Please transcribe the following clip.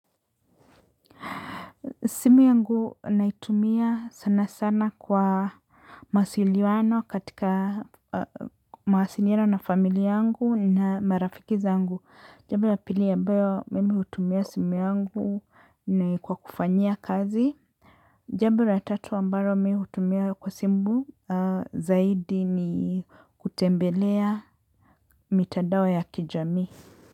Simu yangu naitumia sana sana kwa mawasiliano katika mawasiliano na familia yangu na marafiki zangu. Jambo la pili ambayo mimi hutumia simu yangu ni kwa kufanya kazi. Jambo la tatu ambalo mimi hutumia kwa simu zaidi ni kutembelea mitadao ya kijamii.